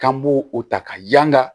K'an b'o o ta ka yanga